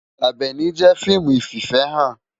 Abèni jé fiimú ififèhán